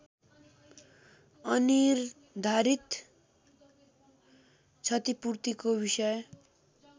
अनिर्धारित क्षतिपूर्तिको विषय